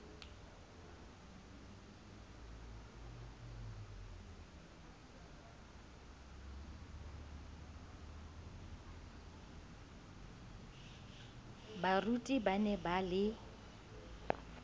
baruti ba ne ba le